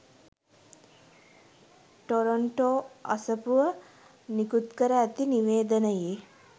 Toronto අසපුව නිකුත්කර ඇති නිවේදනයේ